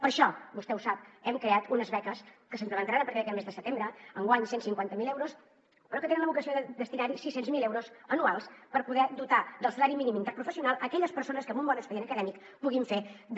per això vostè ho sap hem creat unes beques que s’implementaran a partir d’aquest mes de setembre enguany cent i cinquanta miler euros però que tenim la vocació de destinar hi sis cents miler euros anuals per poder dotar del salari mínim interprofessional aquelles persones que amb un bon expedient acadèmic puguin fer de